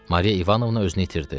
Mariya İvanovna özünü itirdi.